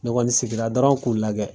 Ne kɔni sigina dɔrɔn k'u lajɛ